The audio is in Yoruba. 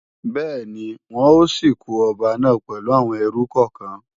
Bẹ́ẹ̀ni, wọn ó sìnkú ọba náà pẹ̀lú àwọn ẹrú kọ̀kan